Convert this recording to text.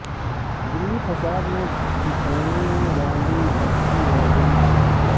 دلی فسادات میں بچھڑنے والی بچی والدین کے حوالے